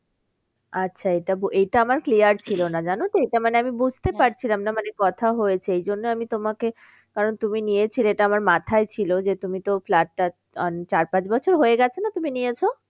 আচ্ছা এটা এটা আমার clear ছিল না জানো তো এটা মানে আমি বুঝতে পারছিলাম না মানে কথা হয়েছে এই জন্যে আমি তোমাকে কারণ তুমি নিয়েছিলে এটা আমার মাথায় ছিল যে তুমি তো flat টা চার পাঁচ বছর হয়ে গেছে না তুমি নিয়েছো?